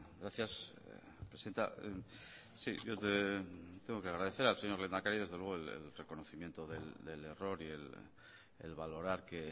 gracias presidenta sí yo tengo que agradecer al señor lehendakari desde luego el reconocimiento del error y el valorar que